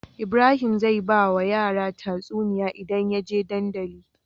Ibrahim zai bawa yara tatsuniya idan yaje dandali